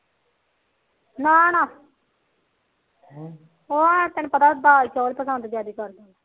ਨਾ ਨਾ ਉਹ ਤੈਨੂੰ ਪਤਾ ਦਾਲ ਚੋਲ ਜਾਂਦਾ ਪਸੰਦ ਕਰਦੇ